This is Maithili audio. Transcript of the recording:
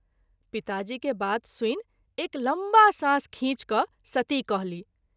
पिता जी के बात सुनि एक लम्बा साँस खींच क’ सती कहली।